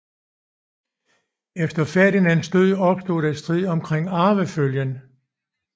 Efter Ferdinands død opstod der strid omkring arvefølgen